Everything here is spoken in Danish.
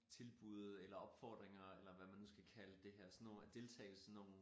Tilbud eller opfordringer eller hvad man nu skal kalde det her sådan nogen at deltage i sådan nogen